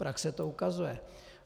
Praxe to ukazuje.